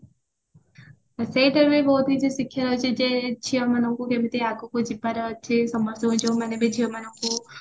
ସେଇଟା ବି ବହୁତ କିଛି ଶିଖିବାର ଅଛି ଯେ ଝିଅମାନଙ୍କୁ କେମିତି ଆଗକୁ ଯିବାର ଅଛି ସମସ୍ତଙ୍କୁ ଯୋଉ ମାନେ ବି ଝିଅ ମାନଙ୍କୁ